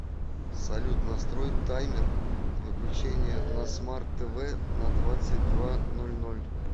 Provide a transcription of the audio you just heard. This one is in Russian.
салют настрой таймер выключения на смарт тв на двадцать два ноль ноль